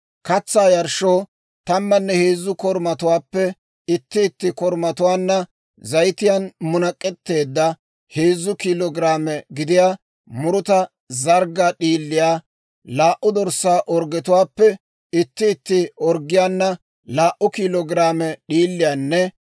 Katsaa yarshshoo tammanne heezzu korumatuwaappe itti itti korumaanna zayitiyaan munak'etteedda heezzu kiilo giraame gidiyaa muruta zarggaa d'iiliyaa, laa"u dorssaa orggetuwaappe itti itti orggiyaana laa"u kiilo giraame d'iiliyaanne